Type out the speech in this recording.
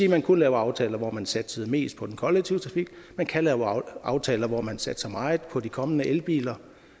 at man kunne lave aftaler hvor man satsede mest på den kollektive trafik man kan lave aftaler hvor man satser meget på de kommende elbiler